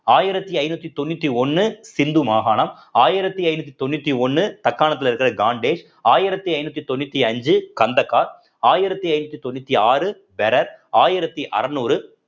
ஆயிரத்தி ஐநூத்தி தொண்ணூத்தி ஒண்ணு ஹிந்து மாகாணம் ஆயிரத்தி ஐந்நூத்தி தொண்ணூத்தி ஒண்ணு தக்காளத்துல இருக்குற காண்டேஷ் ஆயிரத்தி ஐந்நூத்தி தொண்ணூத்தி அஞ்சு கந்தக்கா ஆயிரத்தி ஐந்நூத்தி தொண்ணூத்தி ஆறு ஆயிரத்தி அறநூறு